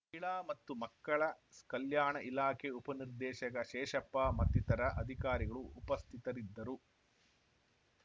ಮಹಿಳಾ ಮತ್ತು ಮಕ್ಕಳ ಸ್ ಕಲ್ಯಾಣ ಇಲಾಖೆ ಉಪನಿರ್ದೇಶಕ ಶೇಷಪ್ಪ ಮತ್ತಿತರ ಅಧಿಕಾರಿಗಳು ಉಪಸ್ಥಿತರಿದ್ದರು